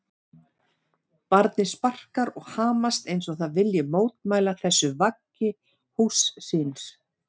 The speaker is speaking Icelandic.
Barnið sparkar og hamast eins og það vilji mótmæla þessu vaggi húss síns.